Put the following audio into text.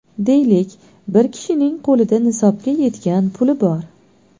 Deylik, bir kishining qo‘lida nisobga yetgan puli bor.